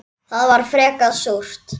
Það var frekar súrt.